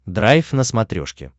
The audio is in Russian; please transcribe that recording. драйв на смотрешке